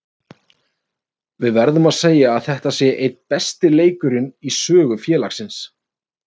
Við verðum að segja að þetta sé einn besti leikurinn í sögu félagsins.